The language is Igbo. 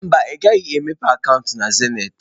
Mba, ị gaghị emepe akaụntụ na zenịtị.